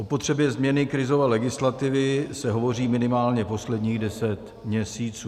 O potřebě změny krizové legislativy se hovoří minimálně posledních deset měsíců.